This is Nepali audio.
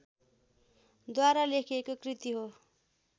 द्वारा लेखिएको कृति हो